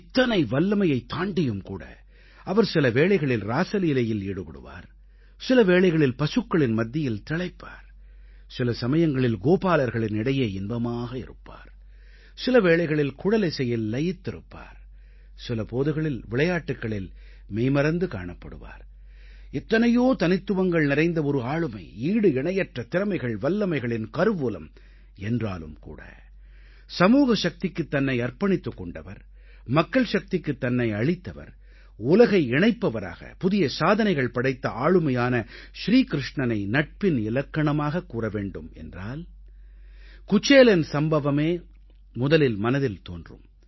இத்தனை வல்லமையைத் தாண்டியும் கூட அவர் சில வேளைகளில் ராஸலீலையில் ஈடுபடுவார் சில வேளைகளில் பசுக்களின் மத்தியில் திளைப்பார் சில சமயங்களில் கோபாலர்களின் இடையே இன்பமாக இருப்பார் சில போதுகளில் விளையாட்டுக்களில் மெய்மறந்து காணப்படுவார் சில வேளைகளில் குழலிசையில் லயித்திருப்பார் எத்தனையோ தனித்துவங்கள் நிறைந்த ஒரு ஆளுமை ஈடு இணையற்ற திறமைகள்வல்லமைகளின் கருவூலம் என்றாலும் கூட சமூக சக்திக்குத் தன்னை அர்ப்பணித்துக் கொண்டவர் மக்கள் சக்திக்குத் தன்னை அளித்தவர் உலகை இணைப்பவராக புதிய சாதனைகள் படைத்த ஆளுமையான ஸ்ரீ க்ருஷ்ணனை நட்பின் இலக்கணமாகக் கூற வேண்டும் என்றால் குசேலன் சம்பவமே முதலில் மனதில் தோன்றும்